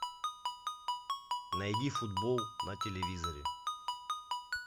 найди футбол на телевизоре